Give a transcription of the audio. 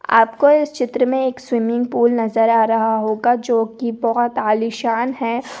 आपको इस चित्र में एक स्विमिंग पूल नज़र आ रहा होगा जो कि बहुत आलिशान है।